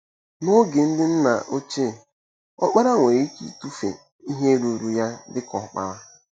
N’oge ndị nna ochie, ọkpara nwere ike ịtụfu ihe ruuru ya dị ka ọkpara.